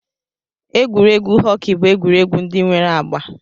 Egwuregwu họkị bụ egwuregwu ndị nwere agba